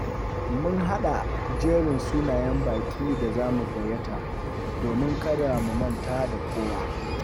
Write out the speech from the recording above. Mun haɗa jerin sunayen bãƙin da zamu gayyata, domin kada mu manta da kowa.